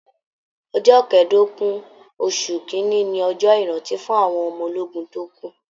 Ọjọ kẹdogun oṣù kínní ní ọjọ ìrántí fún àwọn ọmọ ológun tó kú.